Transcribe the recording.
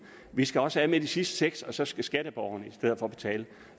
vi skal også af med de sidste seks og så skal skatteborgerne i stedet for betale